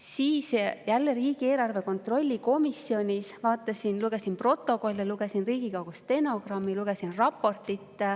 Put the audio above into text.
Siis jälle riigieelarve kontrolli erikomisjonis olles lugesin protokolle, lugesin Riigikogu stenogrammi, lugesin raportit.